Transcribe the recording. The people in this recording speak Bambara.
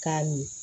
K'a min